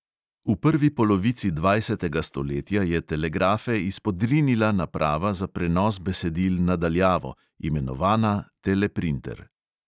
V prvi polovici dvajsetega stoletja je telegrafe izpodrinila naprava za prenos besedil na daljavo, imenovana teleprinter.